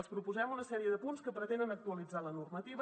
els proposem una sèrie de punts que pretenen actualitzar la normativa